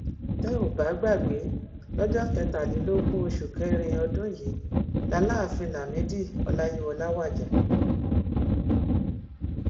tẹ ò bá gbàgbé lọjọ kẹtàlélógún oṣù kẹrin ọdún yìí làlááfíń lamidi ọláyíwọlá wájà